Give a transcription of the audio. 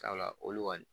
Sabula olu kɔni